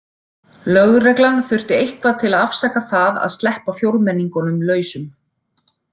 Lögreglan þurfti eitthvað til að afsaka það að sleppa fjórmenningunum lausum.